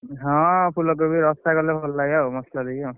ହଁ ଫୁଲକୋବି ରଶା କଲେ ଭଲ ଲାଗେ ଆଉ, ମସଲାଦେଇକି ଆଉ,